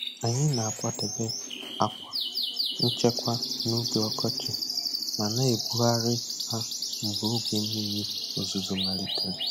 Anyị na-akwadebe àkwà nchekwa n'oge ọkọchị ma na-ebugharị ha mgbe oge mmiri ozuzo malitere.